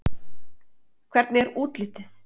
Hvernig er útlitið?